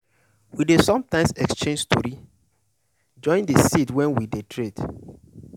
we dey sometimes exchange story join de seed wey we dey trade.